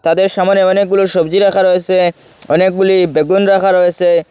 সামনে অনেকগুলো সবজি রাখা রয়েসে অনেকগুলি বেগুন রাখা রয়েসে।